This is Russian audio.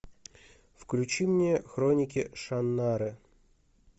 включи мне хроники шаннары